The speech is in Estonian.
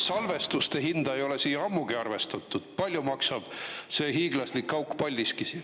Sest salvestuse hinda ei ole siia ammugi arvestatud, palju maksab see hiiglaslik auk Paldiskis.